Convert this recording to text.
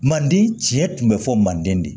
Manden tiɲɛ tun bɛ fɔ manden de